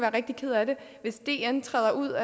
rigtig ked af det hvis dn træder ud